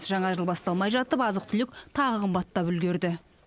жаңа жыл басталмай жатып азық түлік тағы қымбаттап үлгерді